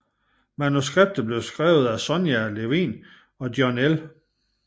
Manuskriptet blev skrevet af Sonya Levien og John L